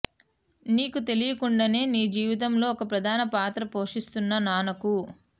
నీకు తెలియకుండానే నీ జీవితంలో ఓ ప్రధాన పాత్ర పోషిస్తున్న నాన్నకు